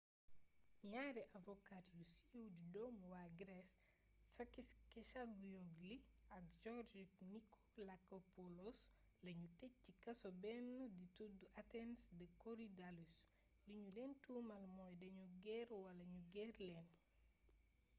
ñaari avocet yu siiw di doomi waa grece sakis kechagioglou ak george nikolakopoulos lañu tëj ci kaso benn di tuddu athènes de korydallus li ñu leen tuumal mooy dañu ger wala ñu ger leen